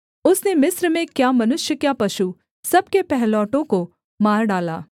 उसने मिस्र में क्या मनुष्य क्या पशु सब के पहिलौठों को मार डाला